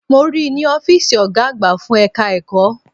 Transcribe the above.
Mo ríi ní Ófììsì Ọ̀gá àgbà fún ẹ̀ka ẹ̀kọ́